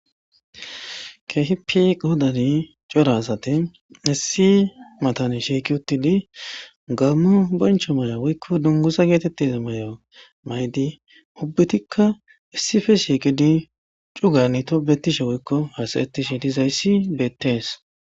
kehipe qodani cora asate issi matan shiiki uttidi gammu boncho maya woykko dungusa geetettez may7o maydi ubbutikka issife shiiqidi cugani to betishe woykko hasaettishe dizayssi beettees